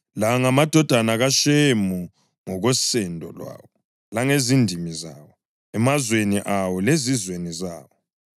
La ngamadodana kaShemu ngokosendo lwawo langezindimi zawo, emazweni awo lezizweni zawo.